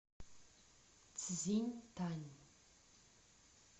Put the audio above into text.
цзиньтань